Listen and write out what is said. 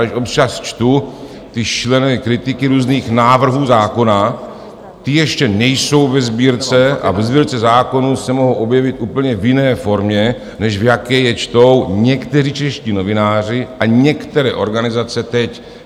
Když občas čtu ty šílené kritiky různých návrhů zákona, ty ještě nejsou ve Sbírce a ve Sbírce zákonů se mohou objevit úplně v jiné formě, než v jaké je čtou někteří čeští novináři a některé organizace teď.